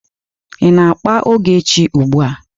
Ị na-akpa ogechi ugbu a.